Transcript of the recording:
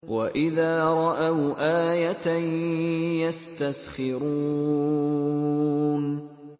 وَإِذَا رَأَوْا آيَةً يَسْتَسْخِرُونَ